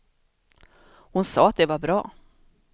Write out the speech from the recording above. Hon sa att det var bra.